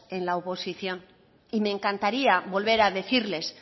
en la oposición y me encantaría volver a decirles